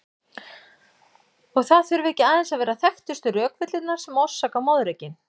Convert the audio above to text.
Og það þurfa ekki aðeins að vera þekktustu rökvillurnar sem orsaka moðreykinn.